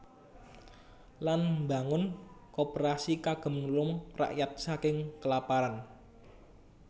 Lan mbangun Koperasi kagem nulung rakyat saking kelaparan